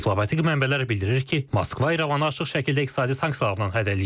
Diplomatik mənbələr bildirir ki, Moskva İrəvanı açıq şəkildə iqtisadi sanksiyalarla hədələyib.